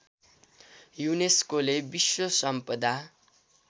युनेस्कोले विश्व सम्पदा